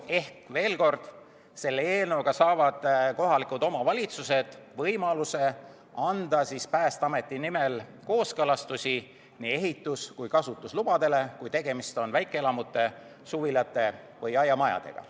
Ehk veel kord: selle eelnõuga saavad kohalikud omavalitsused võimaluse anda Päästeameti nimel kooskõlastusi nii ehitus- kui kasutuslubadele, kui tegemist on väikeelamute, suvilate või aiamajadega.